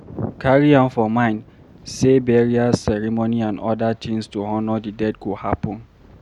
Carry am for mind sey burial ceremony and oda things to honour di dead go happen